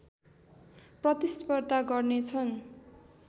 प्रतिस्पर्धा गर्नेछन्